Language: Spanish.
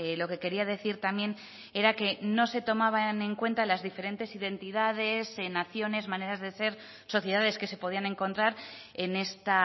lo que quería decir también era que no se tomaban en cuenta las diferentes identidades naciones maneras de ser sociedades que se podían encontrar en esta